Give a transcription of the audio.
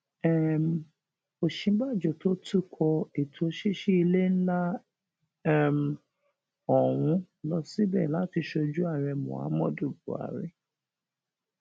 um òsínbàjò tó tukọ ètò ṣíṣí ilé ńlá um ọhún lọ síbẹ láti sojú ààrẹ muhammadu buhari